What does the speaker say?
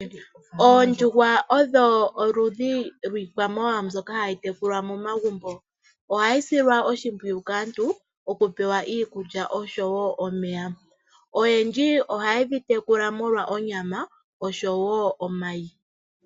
Oondjuhwa odho oludhi lwiikwamawawa mbyoka hayi tekulwa momagumbo, ohayi silwa oshimpwiyu kaantu okupewa iikulya oshowo omeya. Oyendji ohaye dhi tekula molwa onyama oshowo omayi.